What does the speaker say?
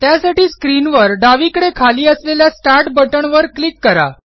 त्यासाठी स्क्रीनवर डावीकडे खाली असलेल्या स्टार्ट बटन वर क्लिक करा